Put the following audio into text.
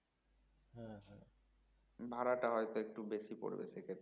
ভাড়া তা হয়তো একটু বেশি পড়বে সেক্ষেত্রে